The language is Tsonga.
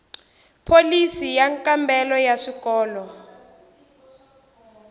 pholisi yo kambela ya swikolo